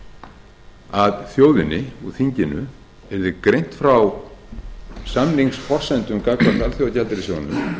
að þjóðinni og þinginu yrði greint frá samningsforsendum gagnvart alþjóðagjaldeyrissjóðnum